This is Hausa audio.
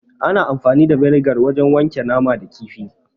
Ana amfani da vinegar wajen wanke nama da kifi.